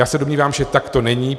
Já se domnívám, že tak to není.